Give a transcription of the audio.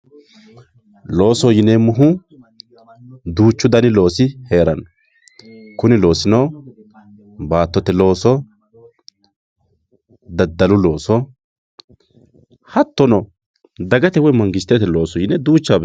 Loosoho yineemohu, duuchu dani loosi heerano, kunni loosinno battotte looso, dadallu looso hatono dagate woyi manigistete looso yine duuchawa beenkanni